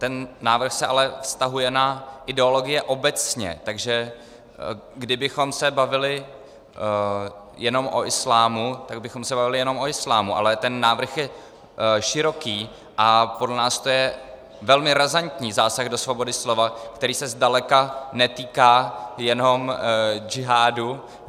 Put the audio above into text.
Ten návrh se ale vztahuje na ideologie obecně, takže kdybychom se bavili jenom o islámu, tak bychom se bavili jenom o islámu, ale ten návrh je široký a podle nás to je velmi razantní zásah do svobody slova, který se zdaleka netýká jenom džihádu.